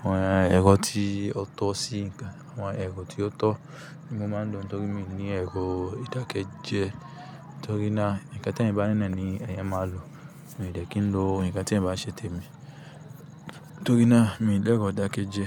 Àwọn ẹ̀rọ tí ó tọ́ sí ǹkan, àwọn ẹ̀rọ tí ó tọ́ ni mo máa ń lò nítorí mi ní ẹ̀rọ ìdákẹ́jẹ́ nítorí ná ǹkan tí ẹ̀yan bá ní náà ni ẹ̀yan máa lò. Èmi o dẹ̀ kì í lo ǹkan tí ẹ̀ n bá n ṣe té mi nítorí náa mi ò dẹ́ro adákẹ́jẹ́